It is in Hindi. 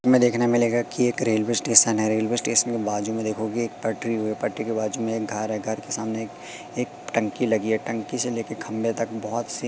हमें देखने में मिलेगा कि एक रेलवे स्टेशन है रेलवे स्टेशन के बाजू में देखोगे एक पटरी व पटरी के बाजू में एक घर है घर के सामने एक एक टंकी लगी है टंकी से लेके खंबे तक बहोत से--